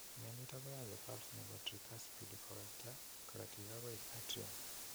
Mioniton koyache valve nepo tricuspid kowekta korotik agoi atrium.